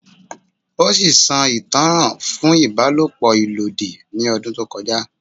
O si ti a itanran fun ibalopo abuse pẹ odun to koja